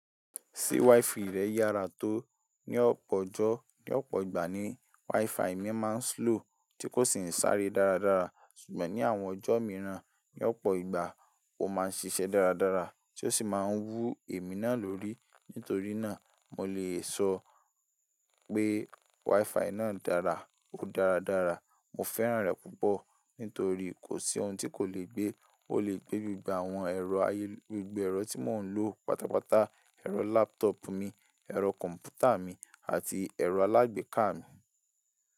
Ṣé wifi rẹ yára tó? Ní ọ̀pọ̀ ọjọ́, ní ọ̀pọ̀ ìgbà ni wifi mi máa ń slow tí kò sì ń sáré dáradára. Ṣùgbọ́n ní àwọn ọjọ́ míìràn ní ọ̀pọ̀ ìgbà ó máa ń ṣiṣẹ́ dáradára tí ó sì máa ń wú èmi náà lórí. Nítorí náà, mo lè sọ pé wifi náà dára, ó dáradára. Mo fẹ́ràn rẹ̀ púpọ̀ nítorí kòsí ohun tí kò lè gbé. Ó lè gbé gbogbo àwọn ẹ̀rọ ayé, gbogbo ẹ̀rọ tí mò ń lò pátápátá, ẹ̀rọ laptop mi, ẹ̀rọ kọ̀m̀pútà mi àti ẹ̀rọ alágbèéká mi.